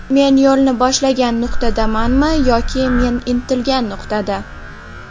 Men yo‘lni boshlagan nuqtadamanmi yoki men intilgan nuqtada?